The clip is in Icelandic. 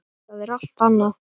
Það er allt annað.